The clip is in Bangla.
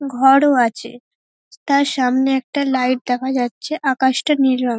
ঘর ও আছে তার সামনে একটা লাইট দেখা যাচ্ছে আকাশটা নীল রঙ--